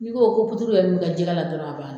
N'i ko ko puturu yɛrɛ min kɛ jɛgɛ la dɔrɔn a ban na.